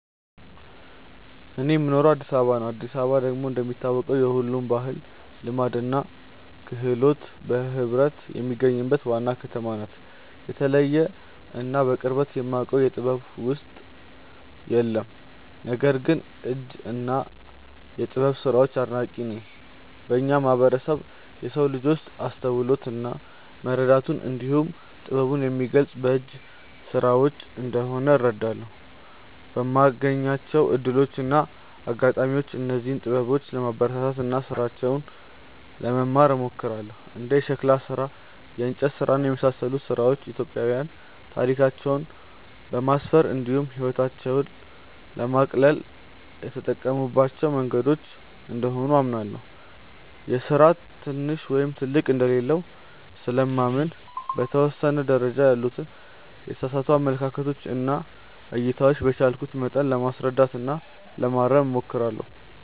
እኔ የምኖረው አዲስ አበባ ነው። አዲስ አበባ ደግሞ እንደሚታወቀው የሁሉም ባህል፣ ልማድ እና ክህሎት በህብረት የሚገኙባት ዋና ከተማ ናት። የተለየ እና በቅርበት የማውቀው የጥበብ ውጤት የለም። ነገር ግን የእጅ እና የጥበብ ስራዎች አድናቂ ነኝ። በእኛ ማህበረሰብ የሰው ልጅ አስተውሎቱን እና መረዳቱን እንዲሁም ጥበቡን የሚገልፀው በእጅ ስራዎች እንደሆነ እረዳለሁ። በማገኛቸው እድሎች እና አጋጣሚዎችም እነዚህን ጥበበኞች ለማበረታታት እና ስራቸውን ለመማር እሞክራለሁ። እንደ የሸክላ ስራ፣ የእንጨት ስራ እና የመሳሰሉት ስራዎች ኢትዮጵያዊያን ታሪካቸውን ለማስፈር እንዲሁም ህይወታቸውን ለማቅለል የተጠቀሙባቸው መንገዶች እንደሆኑ አምናለሁ። የስራ ትንሽ ወይም ትልቅ እንደሌለው ስለማምን በተወሰነ ደረጃ ያሉትን የተሳሳቱ አመለካከቶች እና እይታዎች በቻልኩት መጠን ለማስረዳት እና ለማረም እሞክራለሁ።